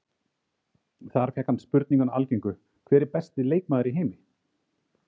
Þar fékk hann spurninguna algengu, hver er besti leikmaður í heimi?